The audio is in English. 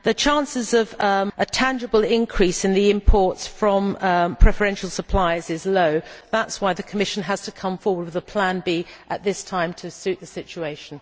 The chances of a tangible increase in imports from preferential supplies is low. That is why the Commission has to come forward with a plan B at this time to suit the situation.